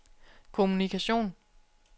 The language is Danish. kommunikation